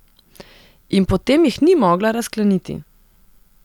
In potem jih ni mogla razkleniti.